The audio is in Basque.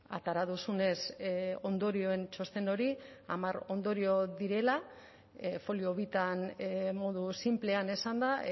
atera duzunez ondorioen txosten hori hamar ondorio direla folio bitan modu sinplean esan da